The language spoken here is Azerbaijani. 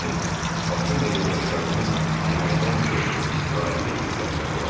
Lakin Bakın və yoldaşlarının yeməkdən çox istirahətə ehtiyacları vardı